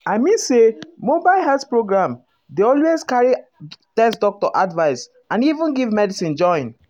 i mean say mobile health program dey always carry ah test doctor advice and even give medicine join.